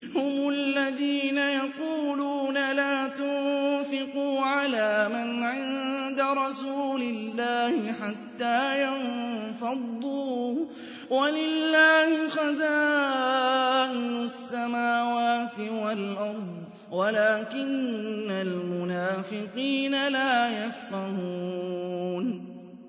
هُمُ الَّذِينَ يَقُولُونَ لَا تُنفِقُوا عَلَىٰ مَنْ عِندَ رَسُولِ اللَّهِ حَتَّىٰ يَنفَضُّوا ۗ وَلِلَّهِ خَزَائِنُ السَّمَاوَاتِ وَالْأَرْضِ وَلَٰكِنَّ الْمُنَافِقِينَ لَا يَفْقَهُونَ